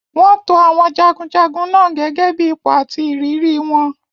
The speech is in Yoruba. Wọ́n to àwọn jagunjagun náà gẹ́gẹ́ bí ipò àti ìrírí wọn.